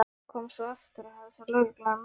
Kom svo aftur og hafði þá lögregluna með sér.